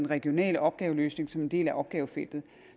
regionale opgaveløsning som en del af opgavefeltet